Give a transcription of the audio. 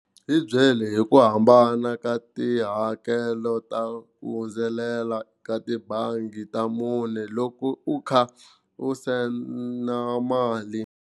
Hi byeli hi ku hambana ka tihakelo ta ku hundzelela ka tibangi ta mune loko u kha u send mali.